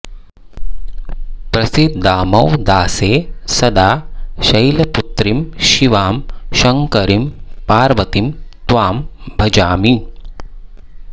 प्रसीदाम्व दासे सदा शैलपुत्रि शिवां शङ्करीं पार्वतीं त्वां भजामि